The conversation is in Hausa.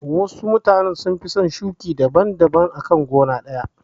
Wasu mutane sun fi son shuƙin abubuwa daban daban a gona ɗaya.